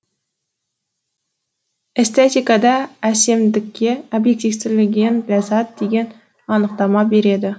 эстетикада әсемдікке объективтіліңген ляззат деген анықтама береді